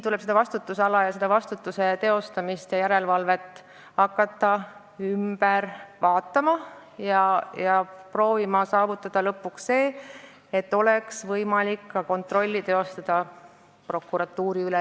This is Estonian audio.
Tuleb vastutusala, vastutuse teostamist ja järelevalvet hakata üle vaatama ning proovida saavutada lõpuks olukord, kus oleks võimalik kontrolli teostada ka näiteks prokuratuuri üle.